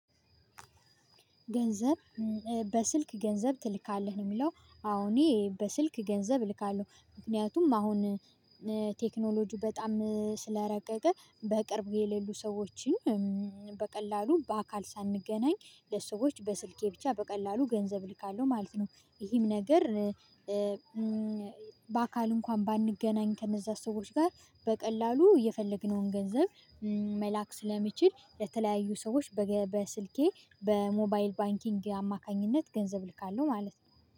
ገንዘብ በስልክ ገንዘብ ትልካለህ ነው የሚለው? አዎ እኔ በስልክ ገንዘብ እልካለሁ ምክንያቱም አሁን ቴክኖሎጂ በጣም ስለረቀቀ በቅርብ የሌሉ ሰዎችን በቀላሉ በአካል ሳንገናኝ ለሰዎች በስልኬ ብቻ በቀላሉ ገንዘብ ልካለሁ ማለት ነው። ይሄም ነገር። በአካል እንኳን ባንገናኝ ከነዛ ሰዎች ጋር በቀላሉ የፈለግነውን ገንዘብ መላክ ስለሚችል የተለያዩ ሰዎች በስልኬ በሞባይል ባንኪንግ አማካኝነት ገንዘብ ልካለሁ ማለት ነው